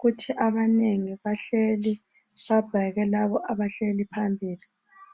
kuthi abanengi bahleli babheke laba abahleli phambili